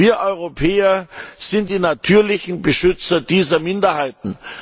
Wir Europäer sind die natürlichen Beschützer dieser Minderheiten.